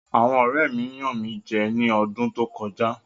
Àwọn ọ̀rẹ́ mi yàn mí jẹ ní odún tó kọjá.